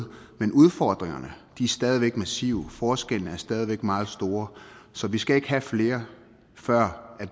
men udfordringerne er stadig væk massive og forskellene er stadig væk meget store så vi skal ikke have flere før